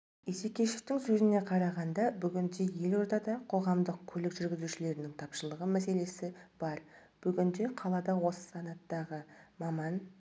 исекешевтің сөзіне қарағанда бүгінде елордада қоғамдық көлік жүргізушілерінің тапшылығы мәселесі бар бүгінде қалада осы санаттағы маман